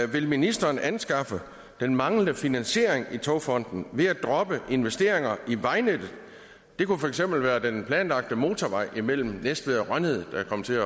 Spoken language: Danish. vil ministeren anskaffe den manglende finansiering i togfonden ved at droppe investeringer i vejnettet det kunne for eksempel være den planlagte motorvej imellem næstved og rønnede der er kommet til